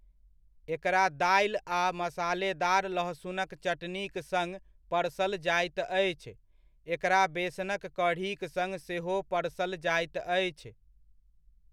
एकरा दालि आ मसालेदार लहसुनक चटनीक सङ्ग परसल जाइत अछि, एकरा बेसनक कढ़ीक सङ्ग सेहो परसल जाइत अछि।